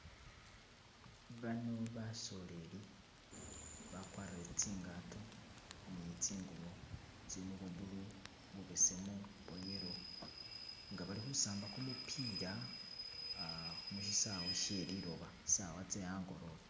Bano basoleli bakwarile tsingato ni tsingubo tsilimo bo blue, bubesemu, bo yellow, nga bali khusamba kumupila mushisawa she liloba tsisawa tse hangolobe.